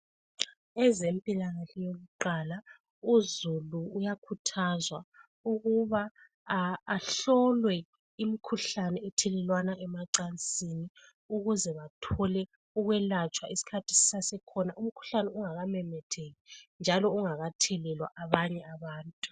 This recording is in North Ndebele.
Ezempilakahle yakuqala ,Uzulu uyakhuthazwa ukuthi ahlole nxa bevela emacansini ukuze bathole ukwelatshwa isikhathi sisakhona ,umkhuhlane ungakamemetheki njalo ungakathelelwa abanye abantu.